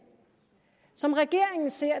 som regeringen ser